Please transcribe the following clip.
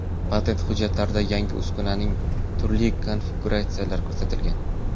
Patent hujjatlarida yangi uskunaning turli konfiguratsiyalari ko‘rsatilgan.